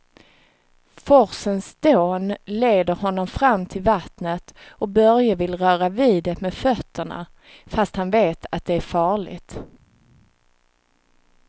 Forsens dån leder honom fram till vattnet och Börje vill röra vid det med fötterna, fast han vet att det är farligt.